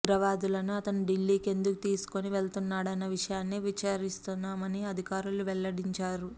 ఉగ్రవాదులను అతను ఢిల్లీకి ఎందుకు తీసుకుని వెళుతున్నాడన్న విషయాన్ని విచారిస్తున్నామని అధికారులు వెల్లడించారు